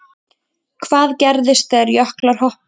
Hvað gerist þegar jöklar hopa?